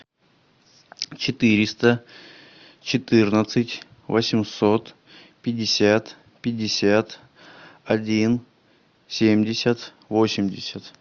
четыреста четырнадцать восемьсот пятьдесят пятьдесят один семьдесят восемьдесят